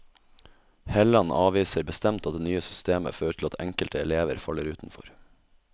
Helland avviser bestemt at det nye systemet fører til at enkelte elever faller utenfor.